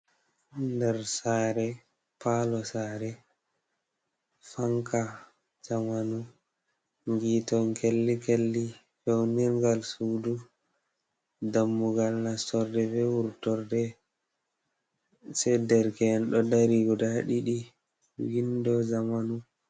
Nder saare, palo saare, fanca zamanu, hiito kelli-kelli, feunirgal sudu, dammugal nastorde be wurtorde, se derke'en ɗo dari guda ɗiɗi, windo zamanu.